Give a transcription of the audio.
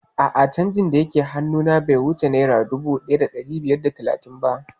A'a canjin dake hannu na be wuce naira dubu ɗaya da ɗari biyar da talatin ba